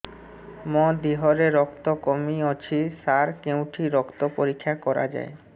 ମୋ ଦିହରେ ରକ୍ତ କମି ଅଛି ସାର କେଉଁଠି ରକ୍ତ ପରୀକ୍ଷା କରାଯାଏ